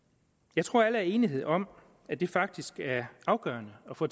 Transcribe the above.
jeg tror at alle er enige om at det faktisk er afgørende at få